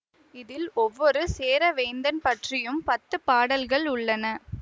இதில் ஒவ்வொரு சேர வேந்தன் பற்றியும் பத்து பாடல்கள் உள்ளன